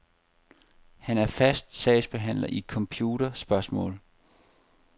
Han er fast sagsbehandler i computerspørgsmål.